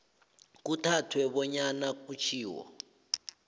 kuthathwe bonyana kutjhiwo